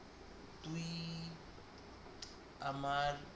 আমার